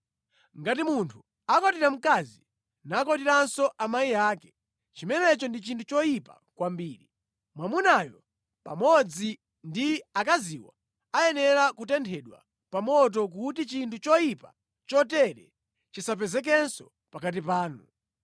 “ ‘Ngati munthu akwatira mkazi, nakwatiranso amayi ake, chimenecho ndi chinthu choyipa kwambiri. Mwamunayo pamodzi ndi akaziwo ayenera kutenthedwa pa moto kuti chinthu choyipa chotere chisapezekenso pakati panu.